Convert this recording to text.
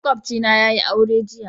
Makwabcina yayi aure jiya.